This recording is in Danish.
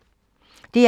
DR1